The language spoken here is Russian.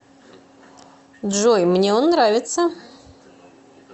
джой мне он нравится